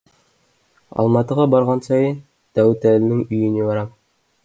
алматыға барған сайын дәуітәлінің үйіне барам